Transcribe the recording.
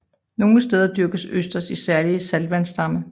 Nogle steder dyrkes østers i særlige saltvandsdamme